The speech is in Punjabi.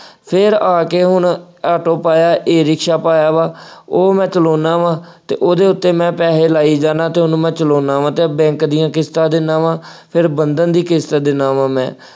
ਫੇਰ ਆ ਕੇ ਹੁਣ ਆਟੋ ਪਾਇਆ, ਈ-ਰਿਕਸ਼ਾ ਪਾਇਆ ਵਾ, ਉਹ ਮੈਂ ਚਲਾਉਂਦਾ ਵਾ ਅਤੇ ਉਹਦੇ ਉੱਤੇ ਮੈਂ ਪੈਸੇ ਲਾਈ ਜਾਂਦਾ ਅਤੇ ਉਹਨੂੰ ਮੈਂ ਚਲਾਉਂਦਾ ਵਾ, ਬੈਂਕ ਦੀਆਂ ਕਿਸ਼ਤਾ ਦਿੰਦਾ ਵਾ, ਫੇਰ ਬੰਧਨ ਦੀ ਕਿਸ਼ਤ ਦਿੰਦਾ ਵਾ ਮੈਂ।